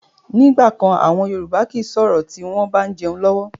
Ni ìgbàkan àwọn Yorùbá kii sọ̀rọ̀ tí wọn bá ń jẹun lọ́wọ́